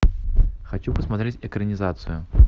хочу посмотреть экранизацию